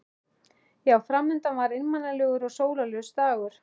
Já, fram undan var einmanalegur og sólarlaus dagur.